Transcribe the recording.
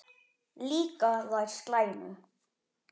Líka þær slæmu.